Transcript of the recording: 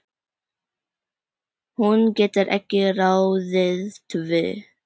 Hún getur ekki ráðið því.